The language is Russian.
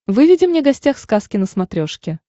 выведи мне гостях сказки на смотрешке